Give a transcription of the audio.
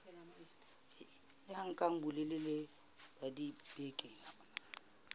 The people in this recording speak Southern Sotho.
ya nka bolelele ba dibeke